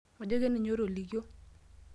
Majo keninye otolikio.